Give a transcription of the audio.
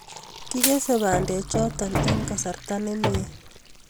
kikesei bandechoto eng kasarta nemie